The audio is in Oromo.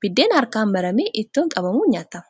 Buddeenni harkaan maramee ittoon qabamuun nyaatama.